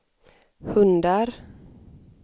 hundar